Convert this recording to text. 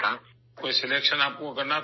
کیا آپ کو کوئی سلیکشن کرنا تھا؟